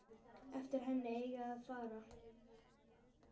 Eftir henni eigi að fara.